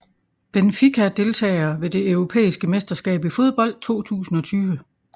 Benfica Deltagere ved det europæiske mesterskab i fodbold 2020